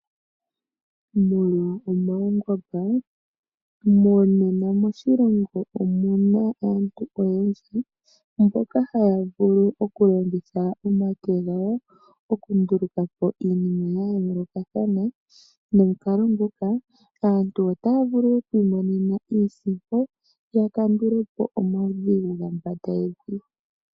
Molwa omaungomba, monena moshilongo omuna aantu oyendji mboka haya vulu okulongitha omake gawo okunduluka iinima ya yoolokathana. Nomukala nguka aantu otaya vulu oku imonena iisimpo ya kandule po omaudhigu ga mbanda yevi.